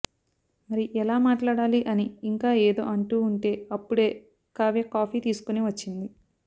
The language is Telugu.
మరి ఎలా మాట్లాడాలి అని ఇంకా ఏదో అంటూ ఉంటే అప్పుడే కావ్య కాఫి తీసుకోని వచ్చింది